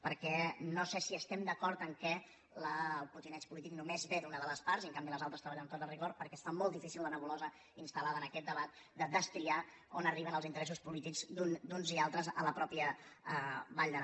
perquè no sé si estem d’acord que el potineig polític només ve d’una de les parts i en canvi les altres treballen amb tot el rigor perquè es fa molt difícil la nebulosa instalaquest debat de destriar on arriben els interessos polítics d’uns i altres a la mateixa vall d’aran